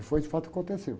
E foi de fato o que aconteceu.